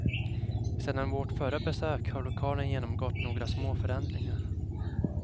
Sedan vårt förra besök har lokalen genomgått några små förändringar.